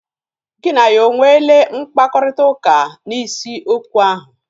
Gị na ya o nweele mkparịkọtaụka n'isi okwu ahụ?